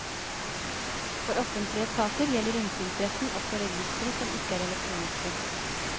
For offentlige etater gjelder innsynsretten også registre som ikke er elektroniske.